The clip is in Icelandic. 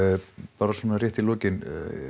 bara svona rétt í lokin